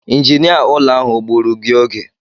Injinia ụlọ ahụ o gbuuru gị oge?